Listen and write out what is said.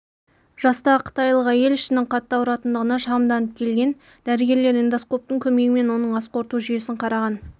жастағы қытайлық әйел ішінің қатты ауыратындығына шағымданып келген дәрігерлер эндоскоптың көмегімен оның ас қорыту жүйесін қараған